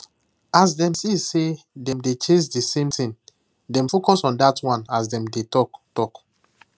as dem see say dem dey chase the same thing dem focus on dat one as dem dey talk talk